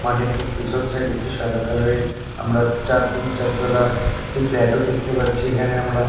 মাঠের ঠিক পেছন সাইড -এ একটি সাদা কালার -এর আমরা চার তিন চার তলা একটি ফ্ল্যাট -ও দেখতে পাচ্ছি এখানে আমরা--